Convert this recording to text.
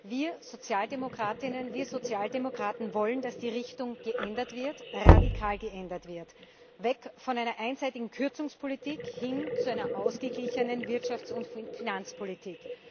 Wir Sozialdemokratinnen, wir Sozialdemokraten wollen, dass die Richtung geändert wird, radikal geändert wird weg von einer einseitigen Kürzungspolitik, hin zu einer ausgeglichenen Wirtschafts und Finanzpolitik.